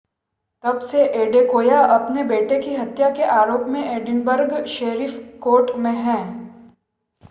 तब से एडेकोया अपने बेटे की हत्या के आरोप में एडिनबर्ग शेरिफ कोर्ट में है